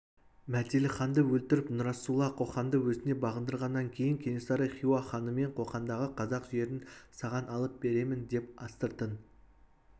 мәделіханды өлтіріп нұрасулла қоқанды өзіне бағындырғаннан кейін кенесары хиуа ханымен қоқандағы қазақ жерін саған алып беремін деп астыртын